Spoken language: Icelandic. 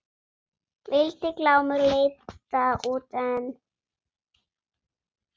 Vildi Glámur leita út en